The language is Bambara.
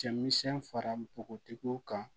Cɛmisɛn fara npogotigiw kan